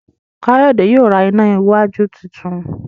Kayode yíò rá iná wájú títún.